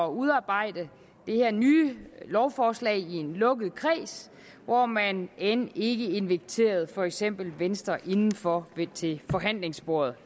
udarbejde det her nye lovforslag i en lukket kreds hvor man end ikke inviterede for eksempel venstre indenfor til forhandlingsbordet